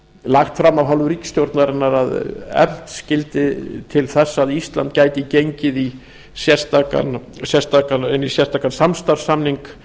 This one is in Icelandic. lagt fram af hálfu ríkisstjórnarinnar að efnt skyldi til þess að ísland gæti gengið í sérstakan samstarfssamning